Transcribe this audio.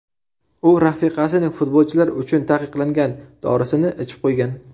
U rafiqasining futbolchilar uchun taqiqlangan dorisini ichib qo‘ygan.